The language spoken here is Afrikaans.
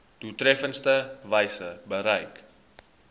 doeltreffendste wyse bereik